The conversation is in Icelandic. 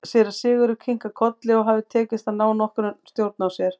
Síra Sigurður kinkaði kolli og hafði tekist að ná nokkurri stjórn á sér.